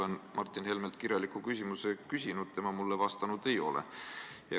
Mina olen Martin Helmelt kirjaliku küsimuse küsinud, tema mulle vastanud ei ole.